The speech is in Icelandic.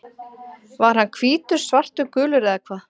Var hann hvítur, svartur, gulur eða hvað?